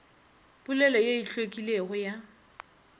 polelo ye e hlwekilego ya